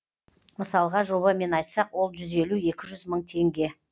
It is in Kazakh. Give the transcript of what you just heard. мысалға жобамен айтсақ ол жүз елу екі жүз мың теңге